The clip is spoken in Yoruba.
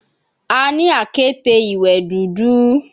A ni akete iwẹ dudu